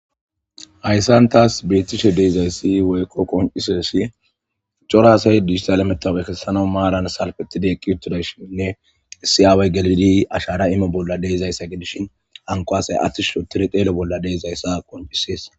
Hayssan taas beettishe deezayssi weyqo qonciseesi corasay dighital emetaw ekessana maaran salqetide qiutodashinnne issi aaway galidi ashara ime bolla deizayssa gidishin ankoasay attish shotire qeelo bolla deezayssa qoncisees.